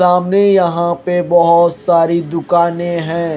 सामने यहां पे बहोत सारी दुकाने हैं।